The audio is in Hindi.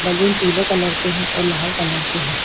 बलून पीले कलर के हैं और लाल कलर के हैं।